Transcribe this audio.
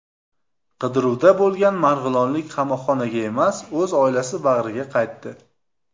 Qidiruvda bo‘lgan marg‘ilonlik qamoqxonaga emas, o‘z oilasi bag‘riga qaytdi.